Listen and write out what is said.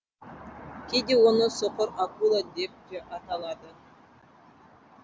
кейде оны соқыр акула деп те аталады